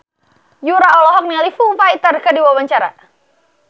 Yura olohok ningali Foo Fighter keur diwawancara